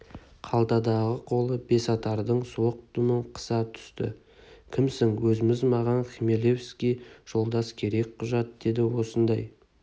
қалтадағы қолы бесатардың суық дүмін қыса түсті кімсің өзіміз маған хмелевский жолдас керек құжат деді осындай